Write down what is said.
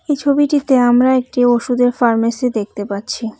এই ছবিটিতে আমরা একটি ওষুধের ফার্মেসি দেখতে পাচ্ছি।